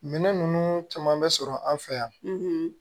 Minɛn ninnu caman bɛ sɔrɔ an fɛ yan